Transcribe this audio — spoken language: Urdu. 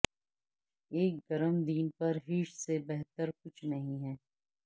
ایک گرم دن پر ہیش سے بہتر کچھ نہیں ہے